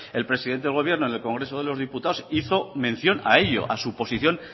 el presidente del gobierno en el congreso de los diputados hizo mención a ello a su posición